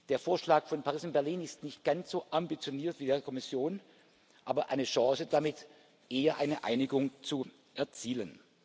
Der Vorschlag von Paris und Berlin ist nicht ganz so ambitioniert wie der der Kommission, aber eine Chance, eher eine Einigung zu erzielen.